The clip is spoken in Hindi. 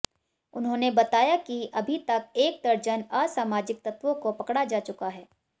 उन्होंने बताया कि अभी तक एक दर्जन असामाजिक तत्त्वों को पकड़ा जा चुका है